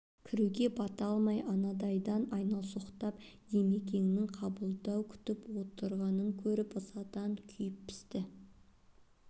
кіруге бата алмай анандайдан айналсоқтап димекеңнің қабылдау күтіп отырғанын көріп ызадан күйіп-пісті